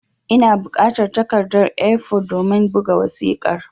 Ina bukatar takarda (A4) domin buga wasiƙar